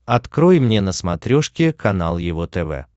открой мне на смотрешке канал его тв